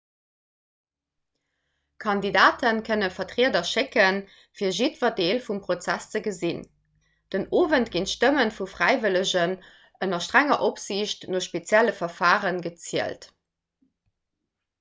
kandidate kënne vertrieder schécken fir jiddwer deel vum prozess ze gesinn den owend ginn d'stëmme vu fräiwëllegen ënner strenger opsiicht no spezielle verfare gezielt